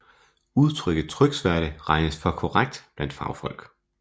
Udtrykket tryksværte regnes for ukorrekt blandt fagfolk